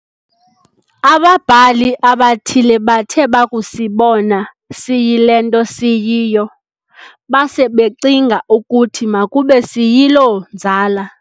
Ababhali abathile bathe bakusibona siyilento siyio, base becinga ukuthi makube siyiloo nzala.